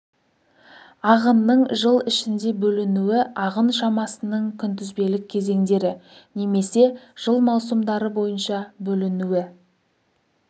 ағынның жыл ішінде бөлінуі ағын шамасының күнтізбелік кезеңдері немесе жыл маусымдары бойынша бөлінуі